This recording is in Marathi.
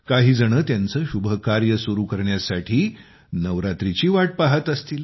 काहीजण त्यांचे शुभ कार्य सुरू करण्यासाठी नवरात्रीची वाट पाहत असतील